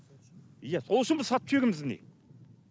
иә сол үшін біз сатып жібереміз міне